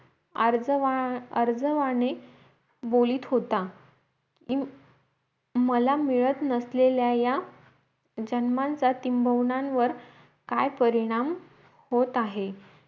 अर्ज आर्जवाने बोलीत होता मला मिळत नसलेल्या याजन्मांच्या तिम्बवुनांवर काय परिणाम होत आहे